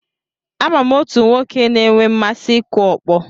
Ama m otu nwoke na-enwe mmasị ịkụ ọkpọ.